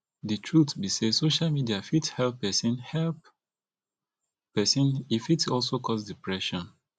di truth be sey social media fit help person help person e fit also cause depression